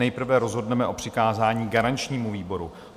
Nejprve rozhodneme o přikázání garančnímu výboru.